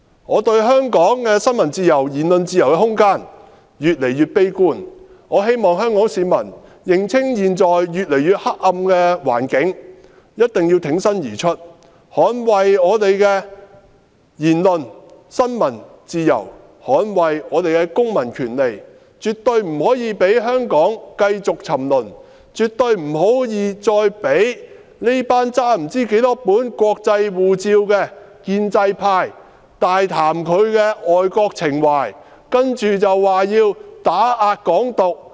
我對香港的新聞自由和言論自由的空間越來越悲觀，我希望香港市民認清現在越來越黑暗的環境，挺身而出，捍衞我們的言論和新聞自由，捍衞我們的公民權利，絕對不可以讓香港繼續沉淪，絕對不可以再讓這群不知道手執多少本外國護照的建制派大談他們的愛國情懷，接着說要打壓"港獨"......